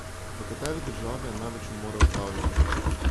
V kateri državi je največ umorov z davljenjem?